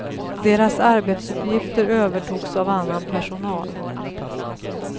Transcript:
Deras arbetsuppgifter övertogs av annan personal.